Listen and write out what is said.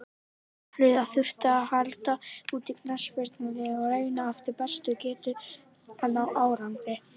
Samhliða þurfti að halda úti knattspyrnuliði og reyna eftir bestu getu að ná árangri.